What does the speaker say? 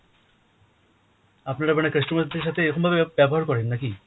আপনারা মানে customer দের সাথে এরকম ভাবে ব~ ব্যবহার করেন না কি?